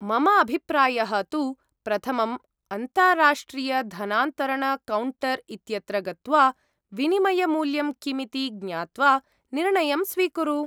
मम अभिप्रायः तु, प्रथमम् अन्ताराष्ट्रियधनान्तरणकौण्टर् इत्यत्र गत्वा विनिमयमूल्यं किमिति ज्ञात्वा निर्णयं स्वीकुरु।